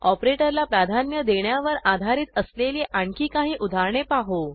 ऑपरेटरला प्राधान्य देण्यावर आधारित असलेली आणखी काही उदाहरणे पाहू